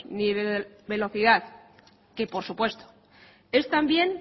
ni de velocidad que por supuesto es también